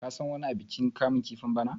ka san wani abikin kamun kifin bana!